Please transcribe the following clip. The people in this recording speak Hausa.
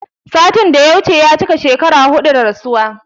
Satin da ya wuce ya cika shekara huɗu da rasuwa